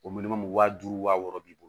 O waa duuru wa wɔɔrɔ b'i bolo